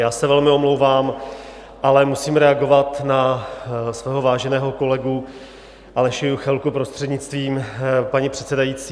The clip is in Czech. Já se velmi omlouvám, ale musím reagovat na svého váženého kolegu Aleše Juchelku, prostřednictvím paní předsedající.